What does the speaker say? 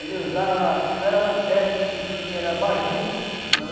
Ele usava, não era a lanterna que a gente tinha, era abajur.